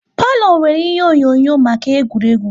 Palo nwèrè ihe onyonyo maka egwuregwu